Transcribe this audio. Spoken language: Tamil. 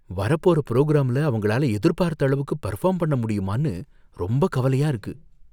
வரப்போற புரோகிராம்ல அவங்களால எதிர்பார்த்த அளவுக்கு பெர்ஃபார்ம் பண்ண முடியுமான்னு ரொம்ப கவலையா இருக்கு